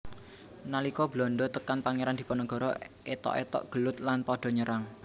Nalika Belanda tekan Pangeran Diponegoro ethok ethok gelut lan pada nyerang